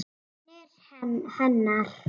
Vonir hennar.